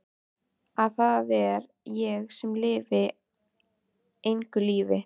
Að það er ég sem lifi engu lífi.